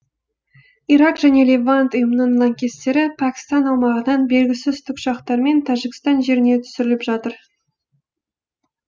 ирак және левант ұйымының лаңкестері пәкістан аумағынан белгісіз тікұшақтармен тәжікстан жеріне түсіріліп жатыр